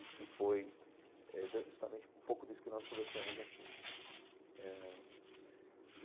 E que foi exa justamente um pouco disso que nós conversamos aqui eh.